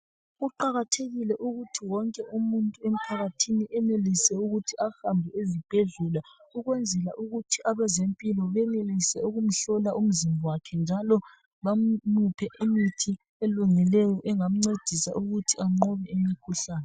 Kuqakathekile ukuthi wonke umuntu emphakathini enelise ukuthi ahambe ezibhedlela ukwenzela ukuthi abezempilo benelise ukumhlola umzimba wakhe njalo bamuphe imithi elungileyo engamcedisa ukuthi anqobe imikhuhlane.